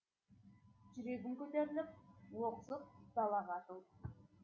жүрегім көтеріліп лоқсып далаға атылдым